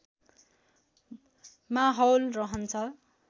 माहौल रहन्छ